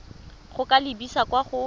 go ka lebisa kwa go